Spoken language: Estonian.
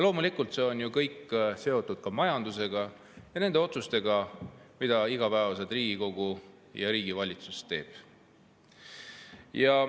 Loomulikult, see on ju kõik seotud majandusega ja nende otsustega, mida igapäevaselt Riigikogu ja riigi valitsus teevad.